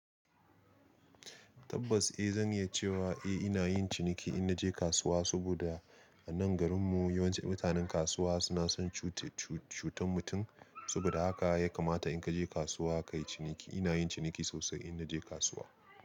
Tabbas eh zan iya cewa eh ina yin ciniki in naje kasuwa, saboda a nan garin mu yawanci mutanen kasuwa suna son cuta cutar mutum. Saboda haka ya kamata in ka je kasuwa ka yi ciniki. Ina yin ciniki sosai in naje kasuwa.